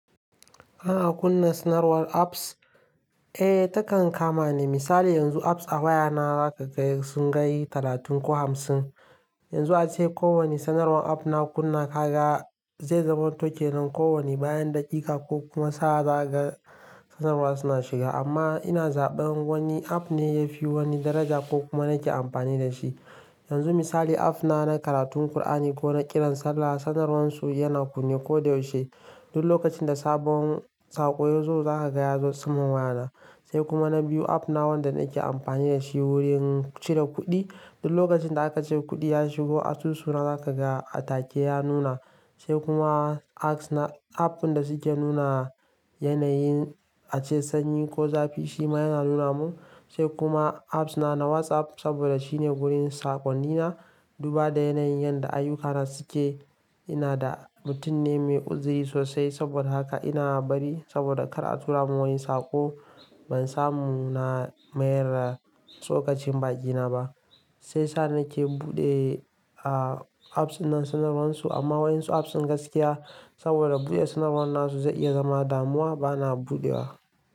Ana kunna sanarwar apps? Eh, takan kama ni. Misali yanzu apps a wayana zaka ga sun kai talatin ko hamsin. Yanzu ace kowani sanarwar app na kunna ka ga zai zamanto kenan kowani bayan daƙiƙa ko kuma sa'a zaka ga sanarwar suna shiga. Amma ina zaɓan wani app ne ya fi wani daraja ko kuma nake amfani da shi. Yanzu misali app na na karatun Kur'ani ko na kiran sallah, sanarwarsu yana kunne ko da yaushe. Duk lokacin da sabon saƙo ya zo za ka ga ya zo saman wayana. Sai kuma na biyu app na wanda nake amfani da shi wurin cire kuɗi. Duk lokacin da aka ce kuɗi ya shigo asusu na za ka ga a take ya nuna. Sai kuma apps na app ɗin da suke nuna yanayin ace sanyi ko zafi shi ma yana nuna mun. Sai kuma apps na na WhatsApp saboda shine wurin saƙonni na. Duba da yanayin yadda ayyukana suke, ina da mutum ne mai uzuri sosai saboda haka ina bari saboda kar a tura mun wani saƙo ban samu na mayar da shi tsokacin baki na ba. Sai sa na ke buɗe apps ɗinan sanarwarsu amma waƴansu apps su gaskiya saboda buɗe sanarwarnasu zai iya zama damuwa bana buɗewa.